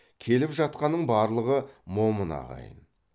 келіп жатқанның барлығы момын ағайын